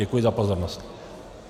Děkuji za pozornost.